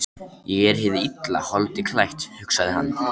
Ég er hið illa holdi klætt, hugsaði hann.